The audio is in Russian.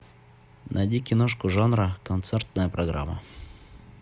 найди киношку жанра концертная программа